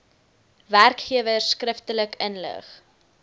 werkgewers skriftelik inlig